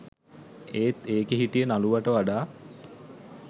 ඒත් ඒකෙ හිටිය නළුවට වඩා